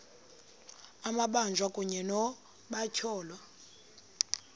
amabanjwa kunye nabatyholwa